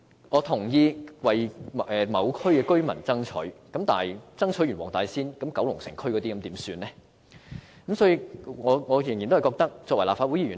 我同意為某區的居民爭取，但為黃大仙區的居民爭取後，九龍城區的居民又怎麼辦呢？